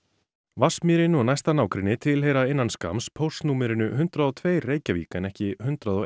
Vatnsmýrin og næsta nágrenni tilheyra innan skamms póstnúmerinu hundrað og tvær Reykjavík en ekki hundrað og